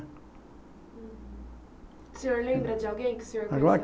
O senhor lembra de alguém que o senhor